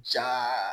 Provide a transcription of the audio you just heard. Ja